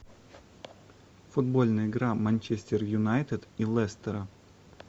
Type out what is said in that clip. футбольная игра манчестер юнайтед и лестера